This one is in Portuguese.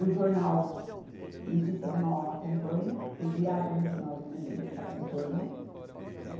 O jornal Notícia de Mauá acompanha, o diário regional do Grande A Bê Cê acompanha.